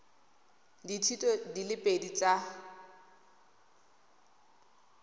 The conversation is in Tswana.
dithuto di le pedi tsa